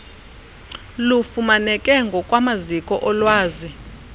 lufumaneke ngokwamaziko olwazi